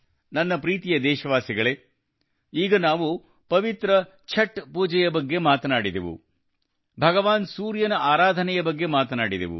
ನನ್ನ ಪ್ರೀತಿಯ ದೇಶವಾಸಿಗಳೇ ಈಗ ನಾವು ಪವಿತ್ರ ಛಠ್ ಪೂಜೆಯ ಬಗ್ಗೆ ಮಾತನಾಡಿದೆವು ಭಗವಾನ್ ಸೂರ್ಯನ ಆರಾಧನೆ ಬಗ್ಗೆ ಮಾತನಾಡಿದೆವು